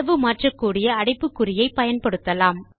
அளவு மாற்றக்கூடிய அடைப்புக்குறியை பயன்படுத்தலாம்